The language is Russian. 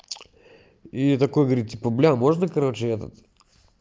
и такой говорит типа блядь можно короче этот